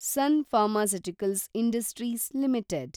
sun pharmaceuticals industries limited